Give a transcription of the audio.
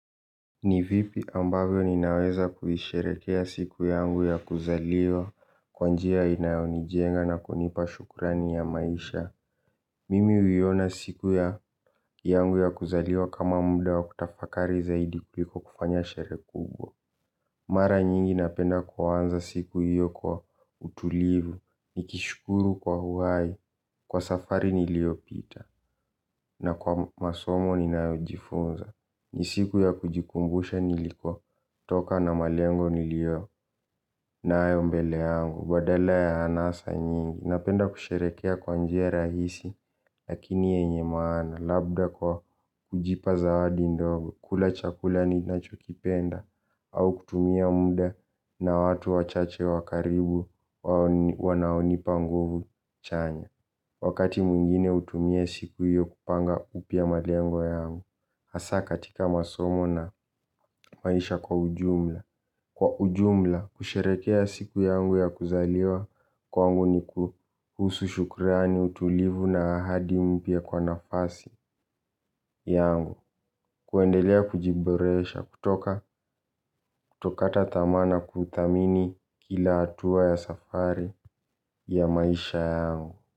Ni vipi ambavyo ninaweza kuisherehekea siku yangu ya kuzaliwa kwa njia inayonijenga na kunipa shukrani ya maisha. Mimi huiona siku yangu ya kuzaliwa kama muda wa kutafakari zaidi kuliko kufanya sherehe kubwa. Mara nyingi napenda kuanza siku hiyp kwa utulivu. Nikishukuru kwa uhai. Kwa safari niliopita. Na kwa masomo ninaojifunza. Ni siku ya kujikumbusha nilikotoka na malengo niliyonayo mbele yangu. Badala ya anasa nyingi napenda kusherehekea kwa njia rahisi. Lakini yenye maana labda kwa kujipa zawadi ndogo kula chakula ninachokipenda au kutumia muda na watu wachache wa karibu wanaonipa nguvu chanya. Wakati mwingine hutumia siku hiyo kupanga upya malengo yangu hasa katika masomo na maisha kwa ujumla. Kwa ujumla kusherehekea siku yangu ya kuzaliwa kwangu ni kuhusu shukrani utulivu na ahadi mpya kwa nafasi yangu. Kuendelea kujiboresha kutoka kutokata tamaa na kuthamini kila hatua ya safari ya maisha yangu.